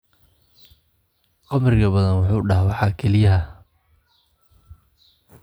Khamriga badan wuxuu dhaawacaa kelyaha.